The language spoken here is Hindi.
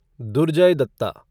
दुर्जय दत्ता